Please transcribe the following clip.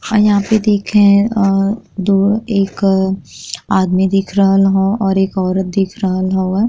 और यहां पे दिखे अ दो एक आदमी दिख रहल ह और एक औरत दिख रहल हवे।